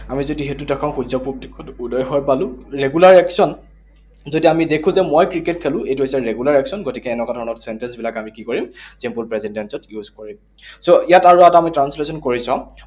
আমি যদি সেইটোত আকৌ সূৰ্য্য পূব দিশে উদয় হয় পালো, regular action, যেতিয়া আমি দেখো যে মই ক্ৰিকেট খেলো, এইটো হৈছে regular action, গতিকে এনেকুৱা ধৰণৰ sentence বিলাক আমি কি কৰিম? Simple present tense ত use কৰিম। So, ইয়াত আৰু এটা আমি translation কৰি চাওঁ।